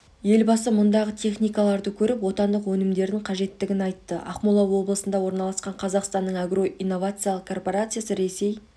елбасы мұндағы техникаларды көріп отандық өнімдердің қажеттігін айтты ақмола облысында орналасқан қазақстанның агро инновациялық корпорациясы ресей